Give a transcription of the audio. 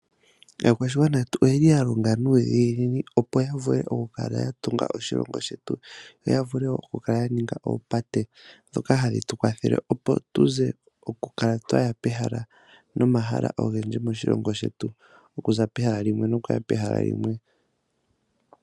Aakwashigwana yetu oyeli ya longa nuudhiginini opo ya vule oku kala ya tunga oshilongo shetu, noya vule oku kala ya ninga oopate dhoka hadhi tu kwathele oku kala twaya pehala nomahala ogendji moshilongo shetu, okuza pehala limwe nokuya pehala limwe.